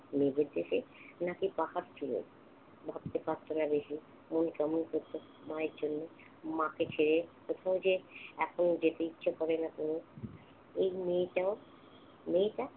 মেঘের দেশে, নাকি পাহাড় চূড়োয়? ভাবতে পারছে না বেশি। মন কেমন করছে মায়ের জন্য। মাকে ঘিরে কোথাও যে এখনও যেতে ইচ্ছে করে না তনুর। এই মেয়েটাও~ মেয়েটা